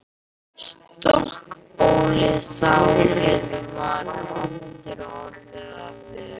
Stokkbólgið sárið varð aftur að vör.